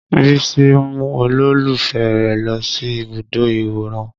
Bísí mú olólùfẹ́ rẹ̀ lọ sí ibùdó ìwòran